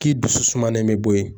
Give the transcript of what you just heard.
K'i dusu sumalen bɛ bɔ yen